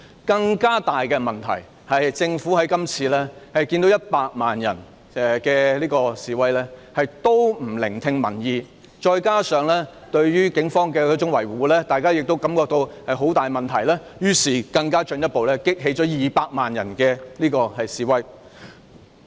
更大的問題是，政府即使看到100萬人示威，仍然不聽民意，再加上當局對警方的維護，大家亦感到大有問題，繼而進一步激起200萬人上街示威。